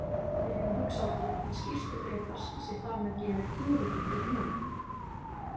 Við getum hugsað okkur að skýrslu Grétars sé þar með gefið tölugildið núll.